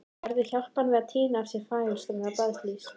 Gerður hjálpaði henni við að tína af sér fagurgrænar blaðlýs.